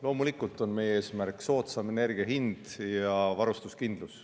Loomulikult on meie eesmärk soodsam energia hind ja varustuskindlus.